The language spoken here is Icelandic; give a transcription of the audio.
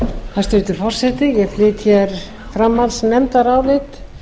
hæstvirtur forseti ég flyt hér framhaldsnefndarálit